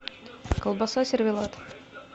колбаса сервелат